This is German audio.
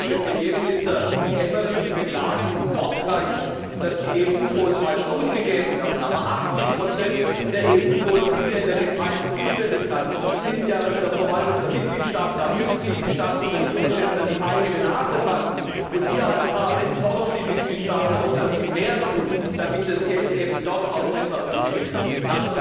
der britische Premierminister Cameron, beklagen wortreich, dass die Mittel der EU Fonds falsch ausgegeben werden, aber 80 dieser Mittel sind ja in der geteilten Zuständigkeit, sind ja in der Verwaltung der Mitgliedstaaten. Da müssen sich die Staats und Regierungschefs an die eigene Nase fassen. Und wir als Parlament fordern die Mitgliedstaaten auf, dass sie mehr tun, damit das Geld eben dort auch besser ausgegeben wird.